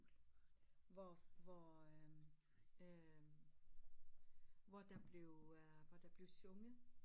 Hvor hvor øh øh hvor der blev øh hvor der blev sunget